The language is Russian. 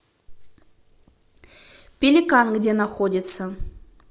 пеликан где находится